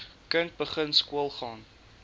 kind begin skoolgaan